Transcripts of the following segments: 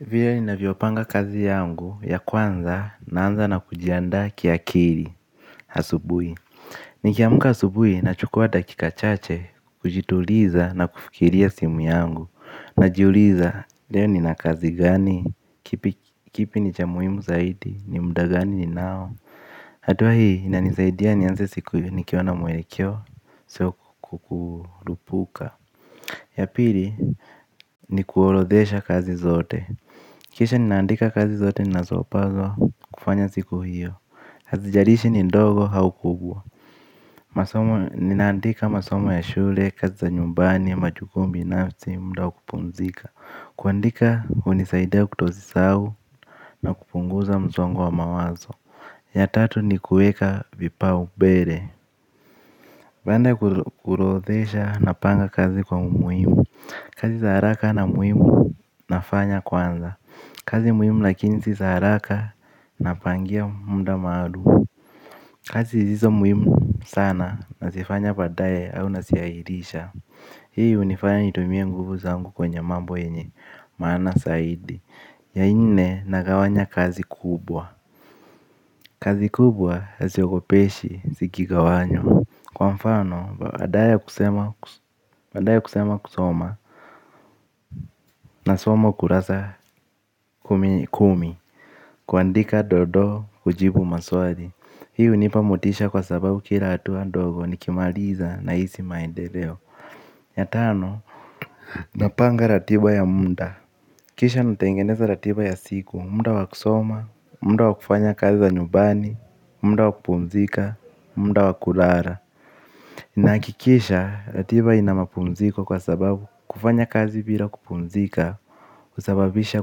Vile ni naviopanga kazi yangu ya kwanza naanza na kujianda kia kiri asubui. Ni kiamuka asubui na chukua dakika chache kujituliza na kufikiria simu yangu. Najiuliza leo ni nakazi gani, kipi ni ja muimu zaidi, ni muda gani ninao. Hatuwa hii na nizaidia nianze siku ni kiwana mwerekeo sio kukurupuka. Ya pili kuorodhesha kazi zote. Kisha ninaandika kazi zote nazopazo kufanya siku hiyo hazijalishi ni ndogo au kubwa masomo ninaandika masomo ya shule kazi za nyumbani majukumu binafsi muda wa kupumzika. Kuandika unisaidia kutozi sawu na kupunguza mzongo wa mawazo. Ya tatu ni kueka vipao bere. Bande kuorodhesha na panga kazi kwa muhimu. Kazi sa haraka na muhimu nafanya kwanza kazi muhimu lakini si haraka napangia muda maalum. Kazi ziso muhimu sana na sifanya padaye au nasiairisha. Hii unifanya nitumie nguvu zangu kwenye mambo enye maana saidi. Ya nne nagawanya kazi kubwa. Kazi kubwa hasiogopeshi sikigawanywa. Kwa mfano badaye kusema kusoma. Na somo kurasa kumi kumi. Kuandika dodo ujibu maswali. Hi unipa motisha kwa sababu kila atuwa ndogo nikimaliza na isi maendeleo yatano. Napanga ratiba ya munda. Kisha natengeneza ratiba ya siku. Munda wakusoma. Munda wakufanya kazi wa nyubani. Munda wakupumzika. Munda wakulara. Na kikisha ratiba inamapumziko kwa sababu kufanya kazi bila kupumzika husababisha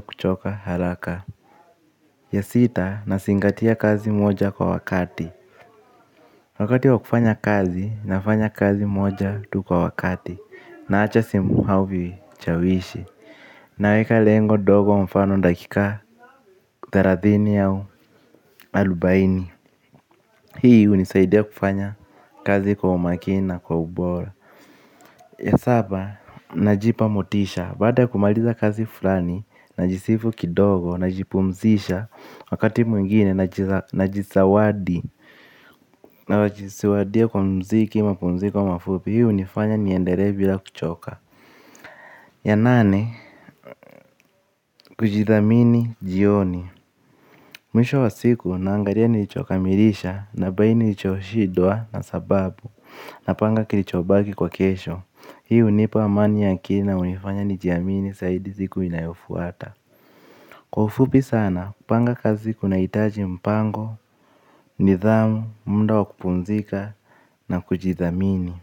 kuchoka haraka. Ya sita, nasingatia kazi moja kwa wakati. Wakati wa kufanya kazi, nafanya kazi moja tu kwa wakati. Na acha simu hau vichawishi. Naweka lengo dogo mfano dakika thelathini yao alubaini. Hii unisaidia kufanya kazi kwa umakini na kwa ubora. Ya saba, najipamotisha. Bada kumaliza kazi fulani, najisifu kidogo, najipumzisha. Wakati mwingine na jisawadi na wajisiwadia kwa mziki mapumziko mafupi. Hii unifanya ni endere bila kuchoka. Ya nane, kujithamini jioni mwisho wa siku naangalia nilichokamilisha na nilichosjindwa napanga kilichobaki kwa kesho hii unipa amani ya akili na hunifanya nijiamini zaidi siku inayofuata. Kwa ufupi sana kupanga kazi kuna hitaji mpango, nidhamu, muda wa kupumzika na kujithamini.